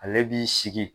Ale b'i sigi